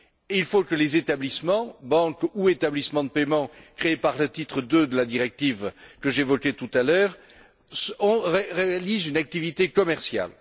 Il faut que les établissements, banques ou établissements de paiement créés par le titre 2 de la directive que j'évoquais tout à l'heure, réalisent une activité commerciale.